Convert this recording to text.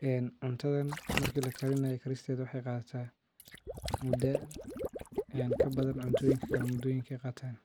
Cuntadhan marki lakarinaayo karistedha waxey qadhataa muda kabadan cuntooyinka kale mudoyinka ey qataan.